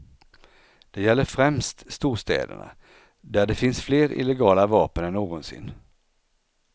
Det gäller främst storstäderna, där det finns fler illegala vapen än någonsin.